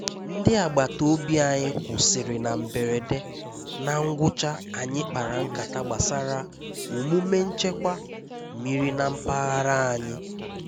Ndí àgbátá òbí ànyị́ kwụ́sị́rị́ ná mbérédé, ná ngwụ́chá ànyị́ kpárá nkátá gbásárá òmúmé nchékwà mmírí ná mpághárá ànyị́.